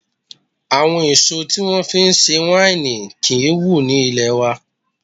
Àwọn èso tí wón fi ń ṣe wáìnì kí ń wù ní ilé wa.